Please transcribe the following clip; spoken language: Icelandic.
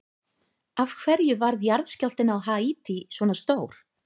Af hverju varð jarðskjálftinn á Haítí svona stór?